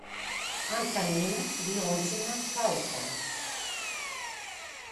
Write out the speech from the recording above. антонина леонтьевна фаустова